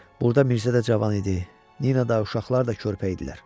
Burda Mirzə də cavan idi, Nina da uşaqlar da körpə idilər.